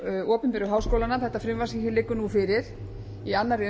opinberu háskólana þetta frumvarp sem liggur nú fyrir í annarri